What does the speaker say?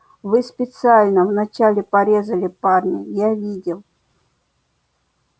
вы специально вначале порезали парня я видел